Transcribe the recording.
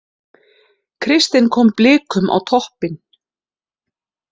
Kristinn kom Blikum á toppinn